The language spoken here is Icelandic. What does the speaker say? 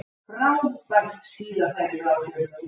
Frábært skíðafæri í Bláfjöllum